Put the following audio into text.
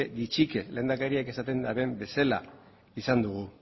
gutxika lehendakariak esaten duen bezala izan dugu